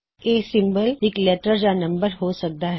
ਇਹ ਸਿਮਬਲ ਇਕ ਲੈਟਰ ਜਾਂ ਨੰਬਰ ਹੋ ਸਕਦਾ ਹੈ